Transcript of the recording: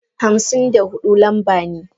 Hamsin da hudu lamba ne.